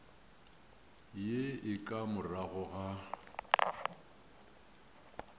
ye e ka morago ga